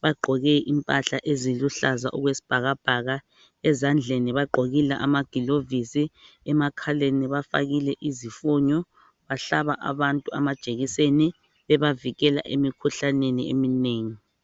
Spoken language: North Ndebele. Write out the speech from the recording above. ,bagqoke impahla eziluhlaza okwesibhakabhaka ezandleni bagqokile amagilovisi emakhaleni bafakile izifonyo ,bahlaba abantu amajekiseni bebavikela emikhuhlaneni eminengi.